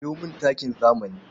Sayo mini takin zamani.